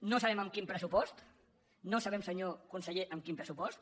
no sabem amb quin pressupost no sabem senyor conseller amb quin pressupost